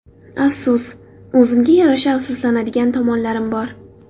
Afsus... o‘zimga yarasha afsuslanadigan tomonlarim bor.